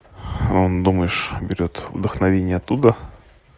он думаешь берет вдохновение оттуда